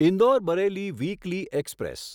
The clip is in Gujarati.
Indore Bareilly weekly express